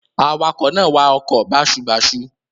Awakọ̀ náà wa ọkọ̀ báṣubàṣu.